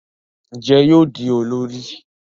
Njé yóò di olórí?